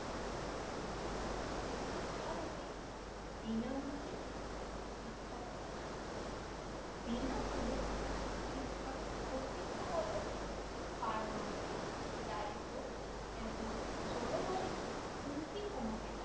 বিনামূল্যে শিক্ষার বিনামূল্যে শিক্ষার অস্তিত্ব গত পারমাণবিক দারিদ্র্য এবং জলবায়ু উন্তি কমাতে